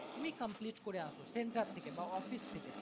তুমি complete করে আসো centre থেকে বা office থেকে